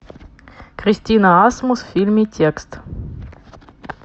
кристина асмус в фильме текст